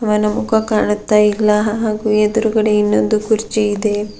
ಅವನ ಮುಖ ಕಾಣುತ್ತಾ ಇಲ್ಲ ಹಾಗು ಎದುರುಗಡೆ ಇನ್ನೊಂದು ಕುರ್ಚಿ ಇದೆ.